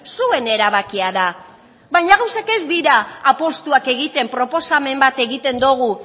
zuen erabakia da baina gauzak ez dira apustuak egiten proposamen bat egiten dugu